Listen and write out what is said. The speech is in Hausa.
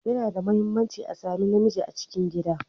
Yana da mahimmanci a sami na miji a cikin gida.